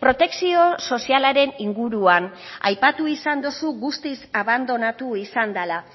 protekzio sozialaren inguruan aipatu izan duzu guztiz abandonatu izan dela